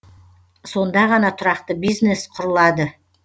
сонда ғана тұрақты бизнес құрылады